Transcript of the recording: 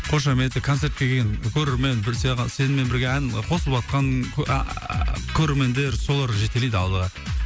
қошеметі концертке келген көрермен білсе сенімен бірге ән қосылыватқан ааа көрермендер солар жетелейді алдыға